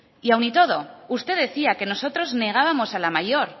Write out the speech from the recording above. aun y todo usted decía que nosotros negábamos la mayor